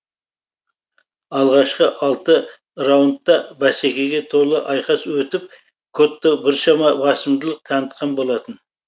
алғашқы алты раундта бәсекеге толы айқас өтіп котто біршама басымдылық танытқан болатын